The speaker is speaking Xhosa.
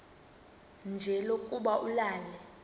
nje lokuba ulale